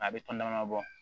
A bɛ tɔn dama bɔ